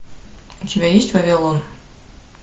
у тебя есть вавилон